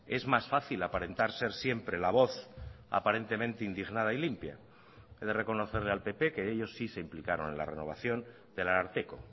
es más fácil aparentar ser siempre la voz aparentemente indignada y limpia he de reconocerle al pp que ellos sí se implicaron en la renovación del ararteko